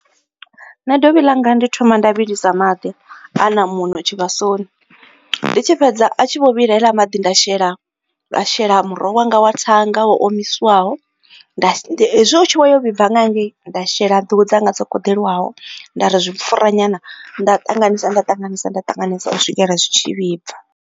Nṋe dovhi ḽanga ndi thoma nda vhilisa maḓi a na muṋo tshivhasoni, ndi tshi fhedza a tshi vho vhila haeḽa maḓi nda shela nda shela muroho wanga wa thanga wo omiswaho. Nda she hezwi u tshi vho yo vhibva nga ha ngei, nda shela nḓuhu dzanga dzo koḓeliwaho, nda ri zwi pfura nyana, nda ṱanganisa nda ṱanganisa nda ṱanganisa u swikela zwi tshi vhibva.